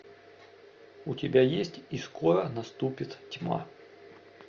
у тебя есть и скоро наступит тьма